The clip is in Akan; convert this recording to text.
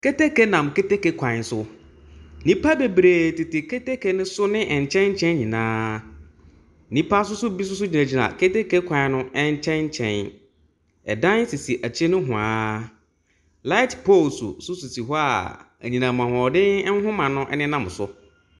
Keteke nam keteke kwan so. Nnipa bebree tete keteke ne so ne nkyɛnkyɛn nyinaa. Nnipa nso bi nso gyinagyina keteke kwan no nkyɛnkyɛn, dan sisi akyi nohoa. Light poles nso sisi hɔ enyinam ahoɔden nhoma no nenam so.